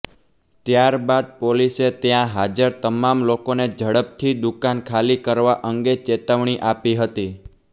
ત્યારબાદ પોલીસે ત્યાં હાજર તમામ લોકોને ઝડપથી દુકાન ખાલી કરવા અંગે ચેતવણી આપી હતી